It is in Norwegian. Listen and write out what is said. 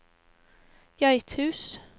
Geithus